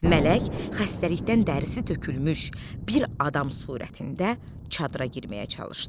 Mələk xəstəlikdən dərisi tökülmüş bir adam surətində çadıra girməyə çalışdı.